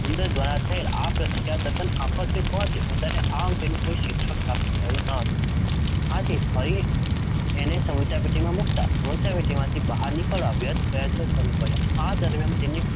ઉંદર દ્વારા થયેલ આ પ્રતિક્રિયા તદ્દન આકસ્મિક હોવાથી ઉંદરને આ અંગેનું કોઈ શિક્ષણ પ્રાપ્ત થયેલ નહોતું. આથી ફરી એને સમસ્યાપેટીમાં મૂકતાં સમસ્યાપેટીમાંથી બહાર નીકળવાના વ્યર્થ પ્રયાસો શરૂ કર્યા, આ દરમ્યાન તેના